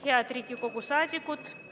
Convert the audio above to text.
Head Riigikogu liikmed!